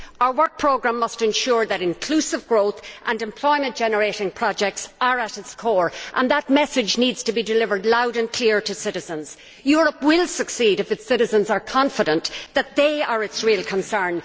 Our work programme must ensure that inclusive growth and employment generating projects are at its core. That message needs to be delivered loud and clear to citizens. Europe will succeed if its citizens are confident that they are its real concern.